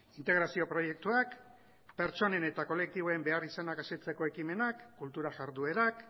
integrazio proiektuak pertsonen eta kolektiboen beharrizanak asetzeko ekimenak kultura jarduerak